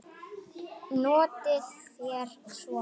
Notið þér svona?